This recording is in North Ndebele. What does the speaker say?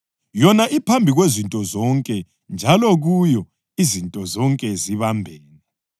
Yona iphambi kwezinto zonke njalo kuyo izinto zonke zibambene.